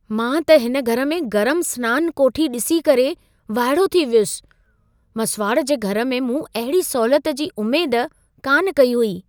मां त हिन घर में गरम सनान कोठी ॾिसी करे वाइड़ो थी वियुसि। मसुवाड़ जे घर में मूं अहिड़ी सहूलियत जी उमेद कान कई हुई।